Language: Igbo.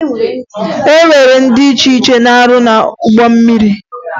E nwere ndị dị iche iche na-arụ n'ụgbọ mmiri